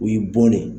O ye bɔn de ye